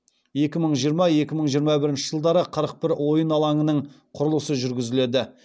екі мың жиырма екі мың жиырма бірінші жылдары қырық бір ойын алаңының құрылысы жүргізіледі